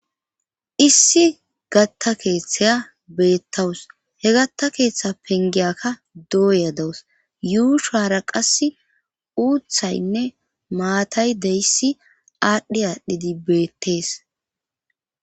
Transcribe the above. issi gatta keeththaya beettawus he gatta keeththa pengiyakka dooya dawus yuushara qass uuthaynne maatay deyissi aadhdhi aadhdhidi beettees